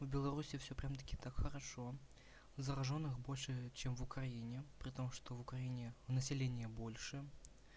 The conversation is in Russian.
в белоруссии все прям таки так хорошо заражённых больше чем в украине при том что в украине население больше